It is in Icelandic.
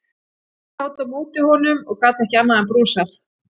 Ég sat á móti honum og gat ekki annað en brosað.